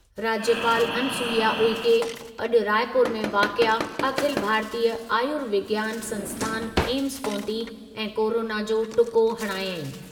राज्यपाल अनुसुइया उइके अॼु रायपुर में वाक़िए अखिल भारतीय आयुर्विज्ञान संस्थान एम्स पहुती ऐं कोरोना जो टुको हणायई।